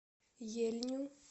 ельню